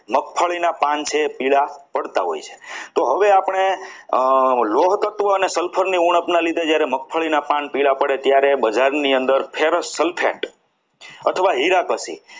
મગફળીના પાન છે એ પીળા પડતા હોય છે તો હવે આપણે લોહ તત્વ અને sulphur ની ઉણપના લીધે જ્યારે મગફળીના પાન પીવા પડે ત્યારે બજારની અંદર feras sulphate અથવા હીરા ઘસી